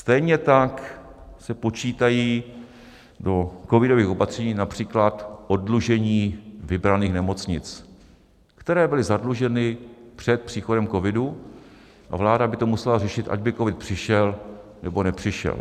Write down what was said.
Stejně tak se počítají do covidových opatření například oddlužení vybraných nemocnic, které byly zadluženy před příchodem covidu, a vláda by to musela řešit, ať by covid přišel, nebo nepřišel.